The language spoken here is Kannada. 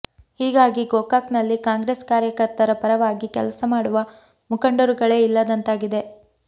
ಹೀಗಾಗಿ ಗೋಕಾಕ್ನಲ್ಲಿ ಕಾಂಗ್ರೆಸ್ ಕಾರ್ಯಕರ್ತರ ಪರವಾಗಿ ಕೆಲಸ ಮಾಡುವ ಮುಖಂಡರುಗಳೇ ಇಲ್ಲದಂತಾಗಿದೆ